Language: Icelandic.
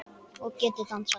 Og getur dansað.